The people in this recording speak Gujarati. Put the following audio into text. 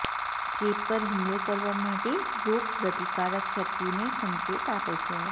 ચેપ પર હુમલો કરવા માટે રોગપ્રતિકારક શક્તિને સંકેત આપે છે